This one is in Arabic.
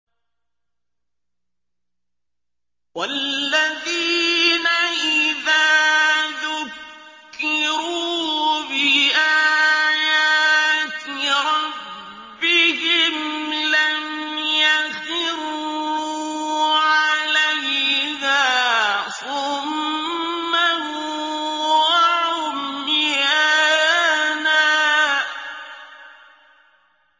وَالَّذِينَ إِذَا ذُكِّرُوا بِآيَاتِ رَبِّهِمْ لَمْ يَخِرُّوا عَلَيْهَا صُمًّا وَعُمْيَانًا